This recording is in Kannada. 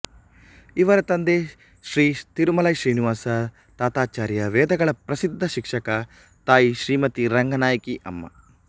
ಇವರ ತಂದೆ ಶ್ರೀ ತಿರುಮಲೈ ಶ್ರೀನಿವಾಸ ತಾತಾಚಾರ್ಯ ವೇದಗಳ ಪ್ರಸಿದ್ಧ ಶಿಕ್ಷಕ ತಾಯಿ ಶ್ರೀಮತಿ ರಂಗನಾಯಕಿ ಅಮ್ಮ